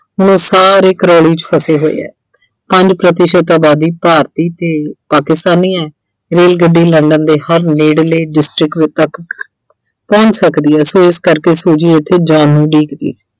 ਅਹ ਸਾਰੇ Crawley 'ਚ ਫਸੇ ਹੋਏ ਐ ਪੰਜ ਪ੍ਰਤੀਸ਼ਤ ਆਬਾਦੀ ਭਾਰਤੀ ਤੇ ਪਾਕਿਸਤਾਨੀ ਐਂ ਰੇਲਗੱਡੀ London ਦੇ ਹਰ ਨੇੜਲੇ district ਅਹ ਤੱਕ ਪਹੁੰਚ ਸਕਦੀ ਐ so ਇਸ ਕਰਕੇ Suji ਇੱਥੇ ਜਾਣ ਨੂੰ ਉਡੀਕਦੀ ਐ।